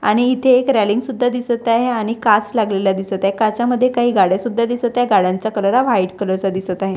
आणि इथे एक रेलिंग सुद्धा दिसत आहे आणि काच लागलेला दिसत आहे काचामध्ये काही गाढ्या सुद्धा दिसत आहे गाड्यांचा कलर हा व्हाईट कलर चा दिसत आहे.